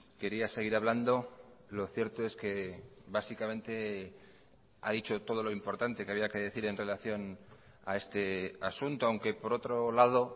quería seguir hablando lo cierto es que básicamente ha dicho todo lo importante que había que decir en relación a este asunto aunque por otro lado